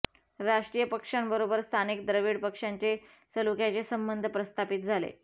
राष्ट्रीय पक्षांबरोबर स्थानिक द्रविड पक्षांचे सलोख्याचे संबंध प्रस्थापित झाले